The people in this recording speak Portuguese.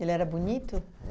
Ele era bonito?